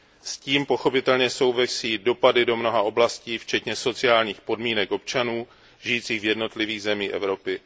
S tím pochopitelně souvisí dopady na mnohé oblasti včetně sociálních podmínek občanů žijících v jednotlivých zemích Evropy.